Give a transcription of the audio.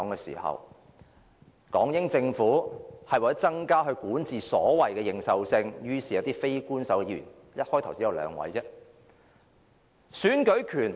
其後，港英政府為了增加所謂管治的認受性，於是便委任了一些非官守議員，開始時只有兩位。